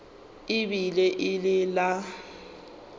e be e le la